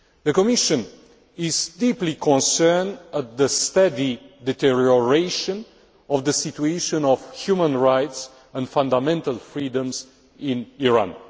The Commission is deeply concerned at the steady deterioration of the situation of human rights and fundamental freedoms in Iran.